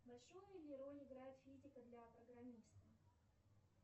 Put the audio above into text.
большую ли роль играет физика для программиста